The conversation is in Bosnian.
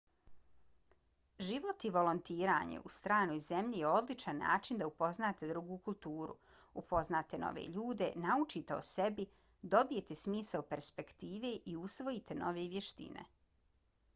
život i volontiranje u stranoj zemlji je odličan način da upoznate drugu kulturu upoznate nove ljude naučite o sebi dobijete smisao perspektive i usvojite nove vještine